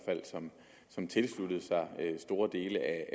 som tilsluttede sig store dele af